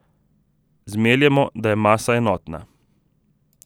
Zmeljemo, da je masa enotna.